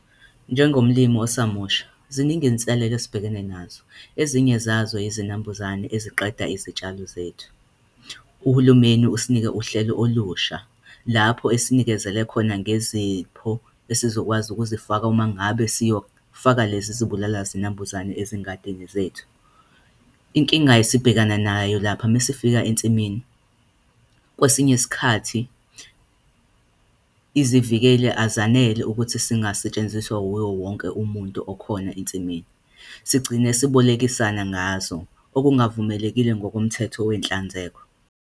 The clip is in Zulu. Njengomlimi osamusha, ziningi inselele esibhekene nazo, ezinye zazo izinambuzane eziqeda izitshalo zethu. Uhulumeni usinike uhlelo olusha lapho esinikezele khona ngezipho esizokwazi ukuzifaka uma ngabe siyofaka lezi zibulala zinambuzane ezingadini zethu. Inkinga esibhekana nayo lapha mesifika ensimini, kwesinye isikhathi, izivikeli azanele ukuthi zingasetshenziswa yiwo wonke umuntu okhona ensimini. Sigcine sibolekisana ngazo okungavumelekile ngokomthetho wenhlanzeko.